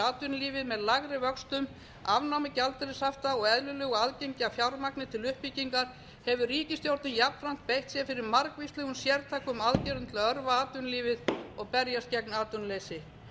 atvinnulífið með lægri vöxtum afnámi gjaldeyrishafta og eðlilegu aðgengi að fjármagni til uppbyggingar hefur ríkisstjórnin jafnframt beitt sér fyrir margvíslegum sértækum aðgerðum til að örva atvinnulífið og berjast gegn atvinnuleysi